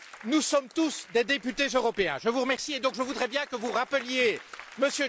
Nous sommes tous des députés européens. Je vous remercie et donc je voudrais bien que vous rappeliez M.